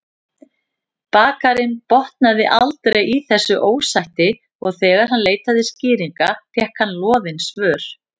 Bakarinn botnaði aldrei í þessu ósætti og þegar hann leitaði skýringa fékk hann loðin svör.